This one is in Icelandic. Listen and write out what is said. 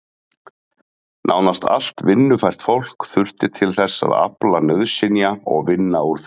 Nánast allt vinnufært fólk þurfti til þess að afla nauðsynja og vinna úr þeim.